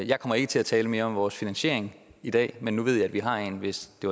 jeg kommer ikke til at tale mere om vores finansiering i dag men nu ved i at vi har en hvis det